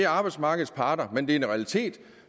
arbejdsmarkedets parter men det er en realitet